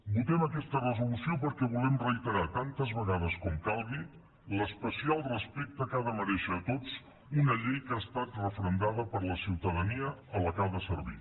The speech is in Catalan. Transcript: votem aquesta resolució perquè volem reiterar tantes vegades com calgui l’especial respecte que ha de merèixer a tots una llei que ha estat referendada per la ciutadania a la que ha de servir